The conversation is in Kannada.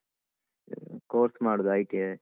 ಅಹ್ course ಮಾಡುದು ITI .